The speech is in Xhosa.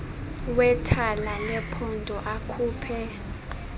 wethala lephondo akhuphe